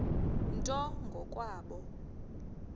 nto ngo kwabo